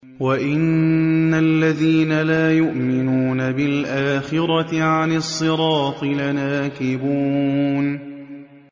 وَإِنَّ الَّذِينَ لَا يُؤْمِنُونَ بِالْآخِرَةِ عَنِ الصِّرَاطِ لَنَاكِبُونَ